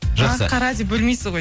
жақсы ақ қара деп бөлмейсіз ғой